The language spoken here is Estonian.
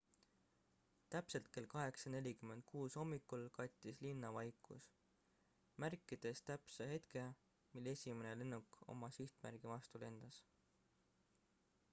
täpselt kell 8.46 hommikul kattis linna vaikus märkides täpse hetke mil esimene lennuk oma sihtmärgi vastu lendas